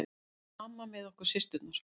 Mamma með okkur systurnar.